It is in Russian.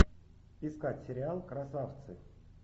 искать сериал красавцы